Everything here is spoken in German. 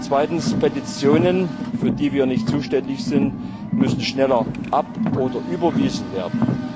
Zweitens Petitionen, für die wir nicht zuständig sind, müssen schneller abgewiesen oder überwiesen werden.